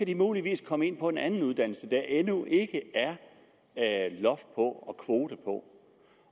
de muligvis komme ind på en anden uddannelse der endnu ikke er loft på og kvote på